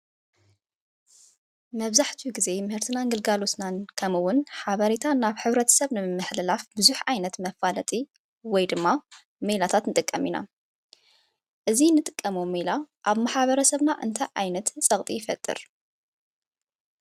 መብዛሕትኡ ግዜ ምህርትና ግልጋሎትናን ከምኡ እዉን ሓበሬታ ናብ ሕብረተሰብ ንምምሕልላፍ ብዙሕ ዓይነት መፈላጢ ወይ ድማ ሜላታት ንጥቀም ኢና። እዚ እንጥቀሞ ሜላ ኣብ ማሕበረሰብና ዓይነት ፀቕጢ ይፈጥር ?